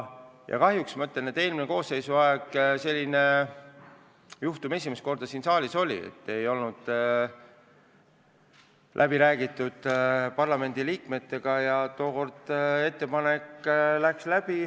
Eelmise koosseisu ajal oli kahjuks esimest korda juhtum, et nimekiri ei olnud parlamendiliikmetega läbi räägitud, aga tookord läks ettepanek läbi.